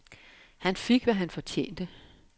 Han fik, hvad han fortjente.